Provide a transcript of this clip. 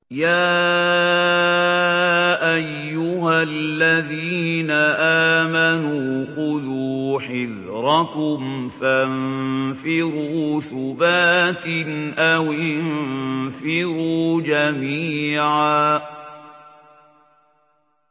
يَا أَيُّهَا الَّذِينَ آمَنُوا خُذُوا حِذْرَكُمْ فَانفِرُوا ثُبَاتٍ أَوِ انفِرُوا جَمِيعًا